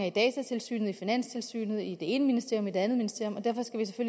i datatilsynet i finanstilsynet i det ene ministerium og i det andet ministerium